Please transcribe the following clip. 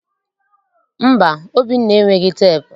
Mba, Obinna enweghị teepu